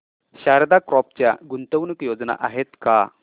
Sharda crop च्या गुंतवणूक योजना आहेत का